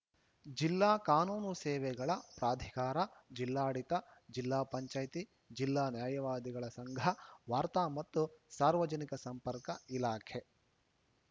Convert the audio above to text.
ಜಿಲ್ಲಾ ಕಾನೂನು ಸೇವೆಗಳ ಪ್ರಾಧಿಕಾರ ಜಿಲ್ಲಾಡಳಿತ ಜಿಲ್ಲಾ ಪಂಚಾಯಿತಿ ಜಿಲ್ಲಾ ನ್ಯಾಯವಾದಿಗಳ ಸಂಘ ವಾರ್ತಾ ಮತ್ತು ಸಾರ್ವಜನಿಕ ಸಂಪರ್ಕ ಇಲಾಖೆ